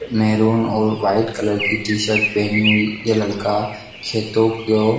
maroon और white colour T shirt पहने हुवे ये लड़का खेतों को--